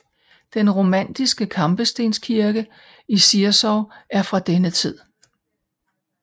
Den romanske kampestenskirke i Zirzow er fra denne tid